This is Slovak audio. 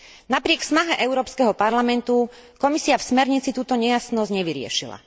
Napriek snahe Európskeho parlamentu Komisia v smernici túto nejasnosť nevyriešila.